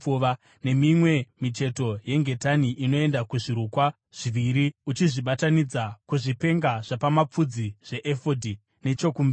nemimwe micheto yengetani inoenda kuzvirukwa zviviri uchizvibatanidza, kuzvipenga zvapamapfudzi zveefodhi nechokumberi.